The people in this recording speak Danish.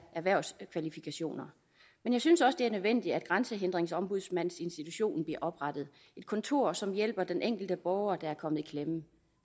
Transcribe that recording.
erhvervskvalifikationer men jeg synes også det er nødvendigt at grænsehindringsombudsmandsinstitutionen bliver oprettet et kontor som hjælper den enkelte borger der er kommet i klemme